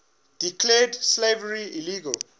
declared slavery illegal